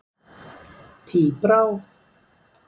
Tíbrá